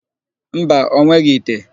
Mba, o nweghị ite.